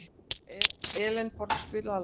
Elenborg, spilaðu lag.